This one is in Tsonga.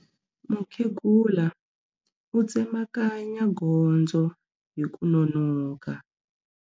Mukhegula u tsemakanya gondzo hi ku nonoka.